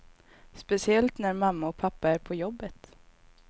Speciellt när mamma och pappa är på jobbet.